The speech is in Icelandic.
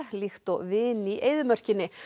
líkt og vin í eyðimörkinni